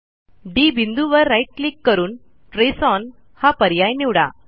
D बिंदूवर right click करून trace on हा पर्याय निवडा